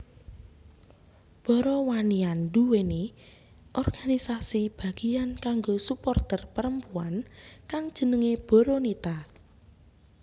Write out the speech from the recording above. Boromaniaanduwèni organisasi bagiyan kanggo suporter perempuan kang jenenge Boronita